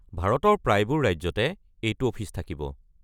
ভাৰতৰ প্ৰায়বোৰ ৰাজ্যতে এইটো অফিচ থাকিব।